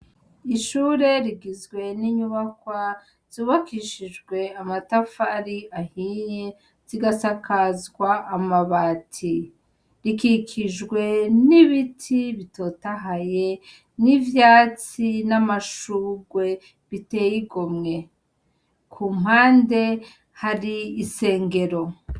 Ishure rigizwe n'inyubakwa zubakishijwe amatafari ahiye zigasakazwa amabati rikikijwe n'ibiti bitotahaye n'ivyatsi n'amashugwe biteyigomwe ku mpande hari isengero.